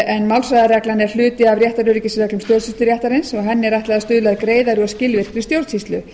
en málshraðareglan er hluti af réttaröryggisreglum stjórnsýsluréttarins og henni er ætlað að stuðla að greiðari og skilvirkri stjórnsýslu